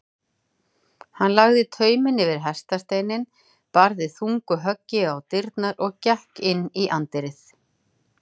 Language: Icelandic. Hann lagði tauminn yfir hestasteininn, barði þung högg á dyrnar og gekk inn í anddyrið.